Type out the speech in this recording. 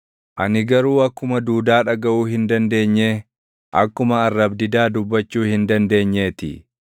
Ani garuu akkuma duudaa dhagaʼuu hin dandeenyee, akkuma arrab-didaa dubbachuu hin dandeenyeetii.